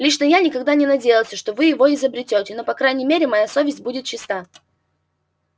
лично я никогда не надеялся что вы его изберёте но по крайней мере моя совесть будет чиста